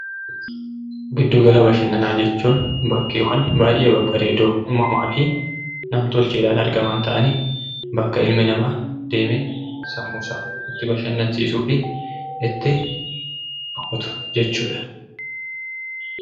Giddu gala bashannanaa jechuun bakkeewwan babbareedoo uummamaa fi nam-tolcheen argaman ta'anii bakka ilmi namaa sammuu isaa itti bashannansiisuu fi itti boqotu jechuudha.